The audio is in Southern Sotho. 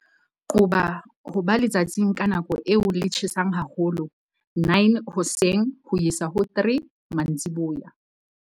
Qoba ho ba letsatsing ka nako eo le tjhesang haholo, 9:00 hoseng ho isa ho 3:00 mantsiboya.